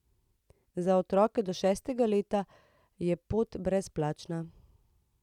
Za otroke do šestega leta je pot brezplačna.